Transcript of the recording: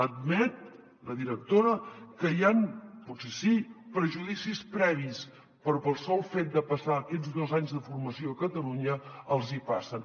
admet la directora que hi han potser sí prejudicis previs però pel sol fet de passar aquests dos anys de formació a catalunya els hi passen